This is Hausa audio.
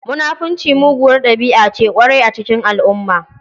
Munafunci muguwar ɗabi'a ce ƙwarai a cikin al'umma.